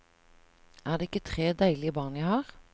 Er det ikke tre deilige barn jeg har?